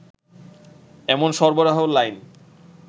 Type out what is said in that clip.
এমন সরবরাহ লাইন